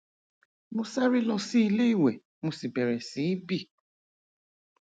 mo sáré lọ sí ilé ìwẹ mo sì bẹrẹ sí í bì